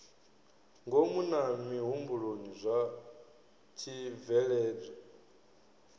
ngomu na mihumbulo zwa tshibveledzwa